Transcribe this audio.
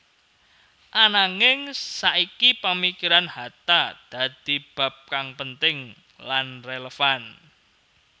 Ananging saiki pamikiran Hatta dadi bab kang penting lan relevan